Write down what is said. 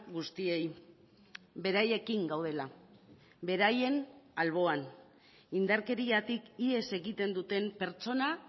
guztiei beraiekin gaudela beraien alboan indarkeriatik ihes egiten duten pertsona